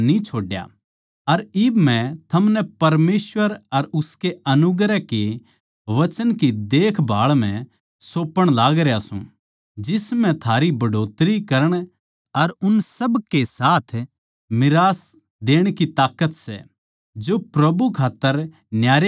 अर इब मै थमनै परमेसवर अर उनके अनुग्रह के वचन की देखभाळ म्ह सौपण लागरया सूं जिस म्ह थारी बढ़ोतरी करण अर उन सब साथ मीरास देण की ताकत सै जो प्रभु खात्तर न्यारे करे गये सै